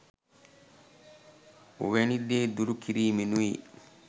ඔවැනි දේ දුරු කිරීමෙනුයි.